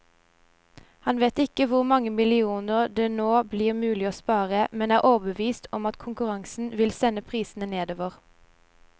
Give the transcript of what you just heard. Han vet ikke hvor mange millioner det nå blir mulig å spare, men er overbevist om at konkurransen vil sende prisene nedover.